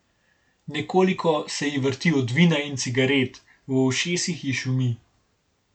Nekoliko se ji vrti od vina in cigaret, v ušesih ji šumi.